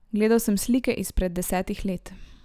Gledal sem slike izpred desetih let.